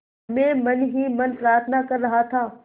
मैं मन ही मन प्रार्थना कर रहा था